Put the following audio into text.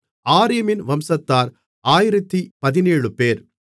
ஆரீமின் வம்சத்தார் 1017 பேர்